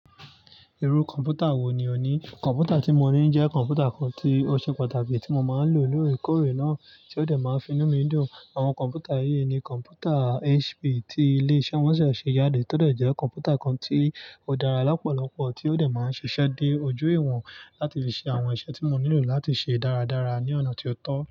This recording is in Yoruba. Irú kọ̀ǹpútà wo ni o ní? Kọ̀ǹpútà tí mo ní jẹ́ kọ̀ǹpútà kan tí ó ṣe pàtàkì tí mo máa ń lò lóòrèkóòrè náà, tí ó dẹ̀ máa ń finú mi dùn. Àwọn kọ̀ǹpútà yìí ni kọ̀ǹpútà HP tí ilé iṣẹ́ wọ́n ṣẹ̀ẹ̀ ṣe yáde tó dẹ̀ jẹ́ kọ̀ǹpútà kan tí ó dára lọ́pọ̀lọ́pọ̀, tí ó dẹ̀ máa ń ṣiṣẹ́ dé ojú ìwọ̀n láti fi ṣe àwọn iṣẹ́ tí mo nílò láti ṣe dáradára ní ọ̀nà tí ó tọ́.